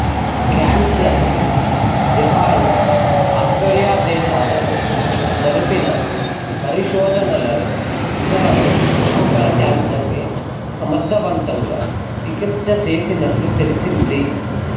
cancer Japan Australia దేశాలలో జరిపిన పరిశోధనలలో ఉదరము ఎముకల కేంసర్ కె సమర్ధవంతముగా చికిచ్సచేసినట్ట్లు తెలిసింది